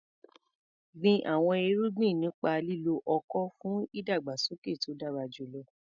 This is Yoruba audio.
Gbin àwọn irúgbìn nípa lílo ọ̀kọ̀ fún ìdàgbàsókè tó dára jùlọ.